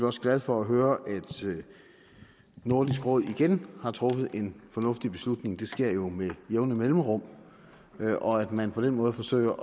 også glad for at høre at nordisk råd igen har truffet en fornuftig beslutning det sker jo med jævne mellemrum og at man på den måde forsøger